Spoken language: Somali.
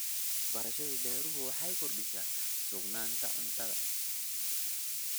Waxbarashada beeruhu waxay kordhisaa sugnaanta cuntada.